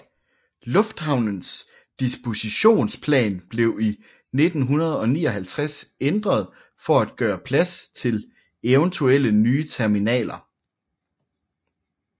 Lufthavnens dispositionsplan blev i 1959 ændret for at gøre plads til eventuelle nye terminaler